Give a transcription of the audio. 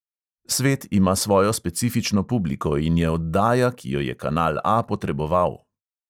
Svet ima svojo specifično publiko in je oddaja, ki jo je kanal A potreboval.